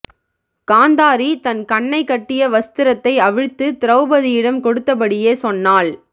காந்தாரி தன் கண்ணைக் கட்டிய வஸ்திரத்தை அவிழ்த்துத் திரௌபதியிடம் கொடுத்தபடியே சொன்னாள்